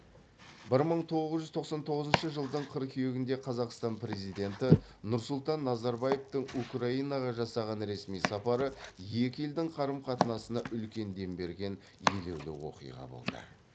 бір мың тоғыз жүз тоқсан тоғызыншы жылдың қыркүйегінде қазақстан президенті нұрсұлтан назарбаевтың украинаға жасаған ресми сапары екі елдің қарым қатынасына үлкен дем берген елеулі оқиға болды